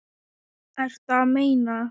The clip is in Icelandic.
Ertu að meina.